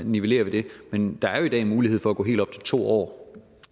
nivellere det men der er jo en mulighed for at gå helt op til to år